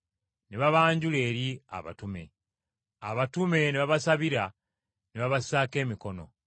ne babanjula eri abatume. Abatume ne babasabira, ne babasaako emikono.